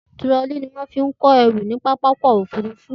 Tirọlí ni wọ́n fi ń kó ẹrù ní pápákọ̀ òfurufú